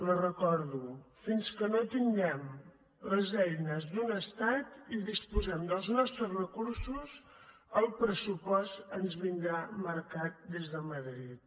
la recordo fins que no tinguem les eines d’un estat i disposem dels nostres recursos el pressupost ens vindrà marcat des de madrid